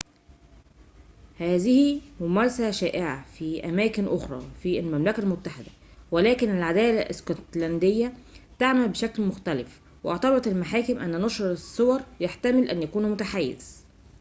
هذه ممارسة شائعة في أماكن أخرى في المملكة المتحدة ولكن العدالة الاسكتلندية تعمل بشكل مختلف واعتبرت المحاكم أن نشر الصور يحتمل أن يكون متحيزاً